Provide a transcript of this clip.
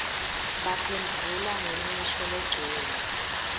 baphendvula ngemisho legcwele